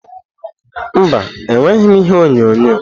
Mba, enweghị m ihe onyonyo.